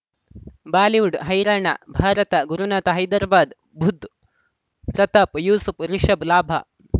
Bollywood ಹೈರಾಣ ಭಾರತ ಗುರುನಾಥ ಹೈದರಾಬಾದ್ ಬುಧ್ ಪ್ರತಾಪ್ ಯೂಸುಫ್ ರಿಷಬ್ ಲಾಭ